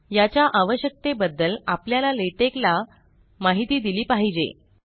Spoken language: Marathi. - याच्या आवश्यकते बद्दल आपल्याला लेटेक ला माहीत दिली पाहिजे